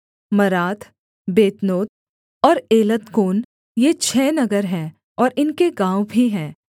मरात Beth Anoth और Eltekon ये छः नगर हैं और इनके गाँव भी हैं